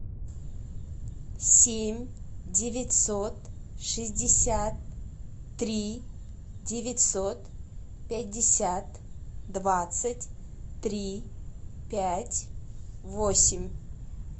семь девятьсот шестьдесят три девятьсот пятьдесят двадцать три пять восемь